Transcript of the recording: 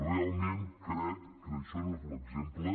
realment crec que això no és l’exemple